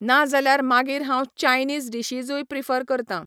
ना जाल्यार मागीर हांव चायनीझ डिशीजूय प्रिफर करतां.